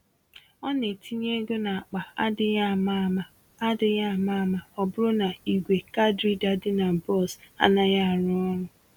Ọ na-etinye égo n'akpa adịghị àmà-àmà adịghị àmà-àmà ọbụrụ na ìgwè card reader dị na bọs anaghị arụ ọrụ